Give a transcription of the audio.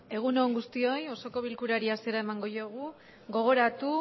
egun on guztioi osoko bilkurari hasiera emango diogu gogoratu